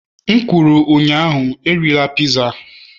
M kwuru ụnyaahụ, erila piza